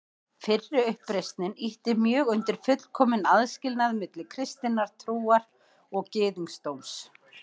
Fyrri uppreisnin ýtti mjög undir fullkominn aðskilnað milli kristinnar trúar og gyðingdóms.